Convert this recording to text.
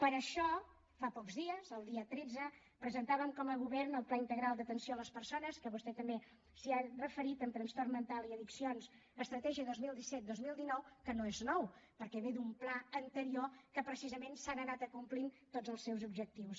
per això fa pocs dies el dia tretze presentàvem com a govern el pla integral d’atenció a les persones vostè també s’hi ha referit amb trastorn mental i addiccions amb l’estratègia dos mil disset dos mil dinou que no és nou perquè ve d’un pla anterior que precisament se n’han anat acomplint tots els objectius